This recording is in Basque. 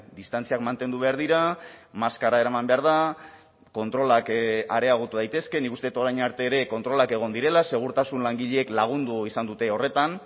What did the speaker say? distantziak mantendu behar dira maskara eraman behar da kontrolak areagotu daitezke nik uste dut orain arte ere kontrolak egon direla segurtasun langileek lagundu izan dute horretan